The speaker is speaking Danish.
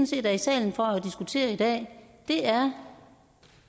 set er i salen for at diskutere i dag er